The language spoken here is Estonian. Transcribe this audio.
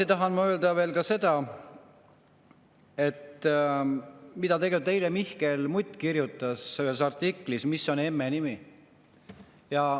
Ma tahan öelda veel seda, mida eile kirjutas Mihkel Mutt artiklis "Mis on emme nimi".